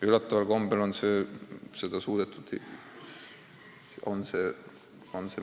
Üllataval kombel on seda suudetud.